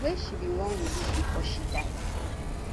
wey she bin wan release bifor she die